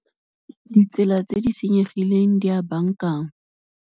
Ditsela tse di senyegileng di a baakanngwa.